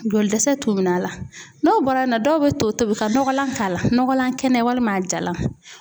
Joli dɛsɛ t'u minɛ a la, n'o bɔra yen nɔ, dɔw bɛ to tobi ka nɔgɔlan k'a la, nɔgɔlan kɛnɛ walima a jalan